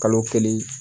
Kalo kelen